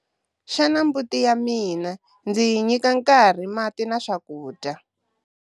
Xana mbuti ya mina ndzi yi nyika nkarhi mati na swakudya?